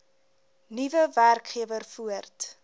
nuwe werkgewer voort